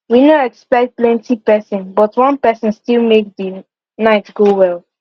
we no expect plenti person but one person still make the night go well